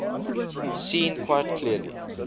seen quite clearly